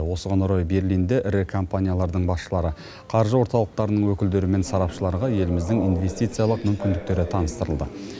осыған орай берлинде ірі компаниялардың басшылары қаржы орталықтарының өкілдері мен сарапшыларға еліміздің инвестициялық мүмкіндіктері таныстырылды